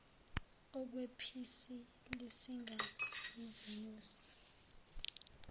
okwephisi lisinga izinyosi